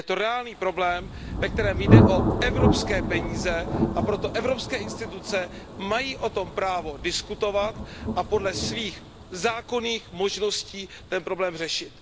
Je to reálný problém, ve kterém jde o evropské peníze, a proto evropské instituce mají o tom právo diskutovat a podle svých zákonných možností ten problém řešit.